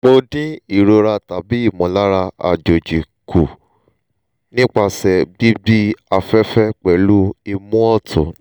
mo din irora tabi imolara ajoji ku nipase gbigbi afefe pelu imu otun